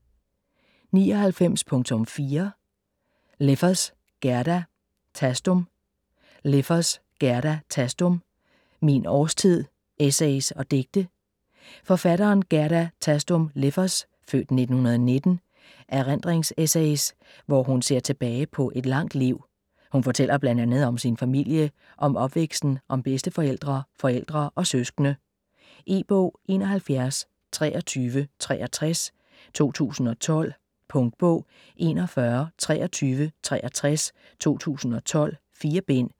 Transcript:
99.4 Leffers, Gerda Thastum Leffers, Gerda Thastum: Min årstid: essays og digte Forfatteren Gerda Thastum Leffers (f. 1919) erindringsessays, hvor hun ser tilbage på et langt liv. Hun fortæller bl.a. om sin familie, om opvæksten, om bedsteforældre, forældre og søskende. E-bog 712363 2012. Punktbog 412363 2012. 4 bind.